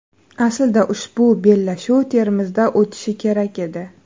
Aslida ushbu bellashuv Termizda o‘tishi kerak edi.